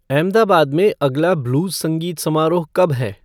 अहमदाबाद में अगला ब्लूज संगीत समारोह कब है